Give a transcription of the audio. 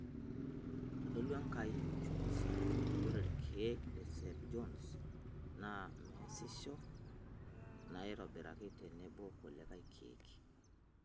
Eitodolua enkai uchunguzi ajo ore ilkeek St. Johns naa measisho naitobirakintenebo kulie keek.